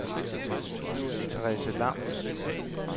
Therese Lam